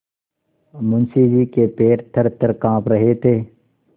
मुंशी जी के पैर थरथर कॉँप रहे थे